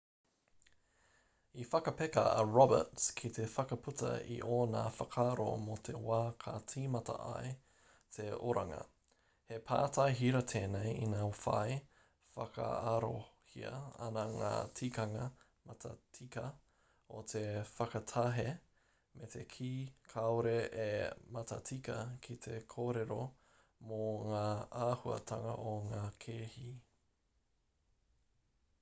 i whakapeka a roberts ki te whakaputa i ōna whakaaro mō te wā ka tīmata ai te oranga he pātai hira tēnei ina whai whakaarohia ana ngā tikanga matatika o te whakatahe me te kī kāore e matatika ki te kōrero mō ngā āhuatanga o ngā kēhi